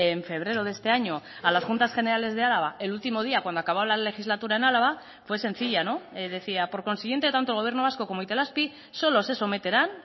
en febrero de este año a las juntas generales de álava el último día cuando acabó la legislatura en álava fue sencilla decía por consiguiente tanto el gobierno vasco como itelazpi solo se someterán